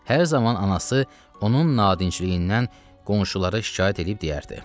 Hər zaman anası onun nadinçliyindən qonşulara şikayət eləyib deyərdi: